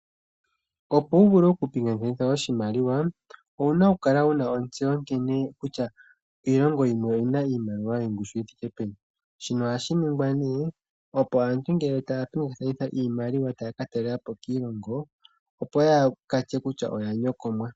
Opo wu vule okupingakanitha oshimaliwa owu na okukala wu na ontseyo nkene kutya iilongo yimwe oyi na iimaliwa yongushu yi thike peni shino ohashi ningwa ne ngele aantu taya pingakanitha iimaliwa uuna taya ka talelapo kiilongo opo yaakatye kutya oya nyokomwa.